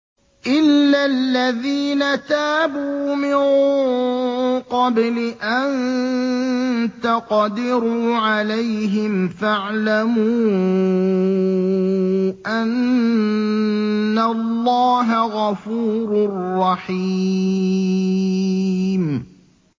إِلَّا الَّذِينَ تَابُوا مِن قَبْلِ أَن تَقْدِرُوا عَلَيْهِمْ ۖ فَاعْلَمُوا أَنَّ اللَّهَ غَفُورٌ رَّحِيمٌ